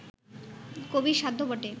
কবির সাধ্য বটে